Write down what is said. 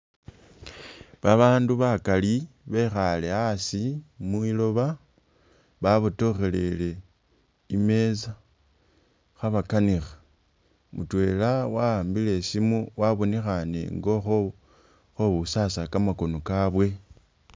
Babandu bakali bekhale asii mwiloba babotokhelele imesa khabakanikha mutwela waambile isimu wabonekhane nga ukho ukhowusasa kamakono kabwe